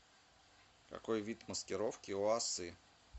какой вид маскировки у осы